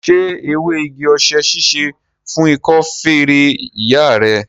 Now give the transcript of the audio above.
Ṣé ewé igi-osè ṣíṣe fún ikọ́ feré ìyá rẹ?